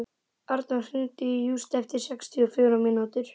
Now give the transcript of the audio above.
Arnór, hringdu í Júst eftir sextíu og fjórar mínútur.